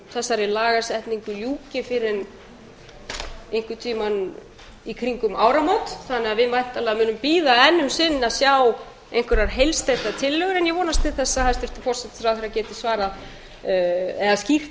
þessari lagasetningu ljúki fyrr en einhvern tímann í kringum áramót þannig að við munum væntanlega bíða enn um sinn eftir að sjá heilsteyptar tillögur en ég vonast til þess að hæstvirtur forsætisráðherra geti skýrt